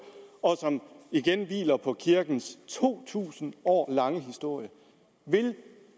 og som igen hviler på kirkens to tusind år lange historie vil